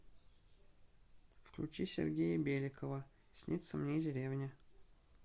включи сергея беликова снится мне деревня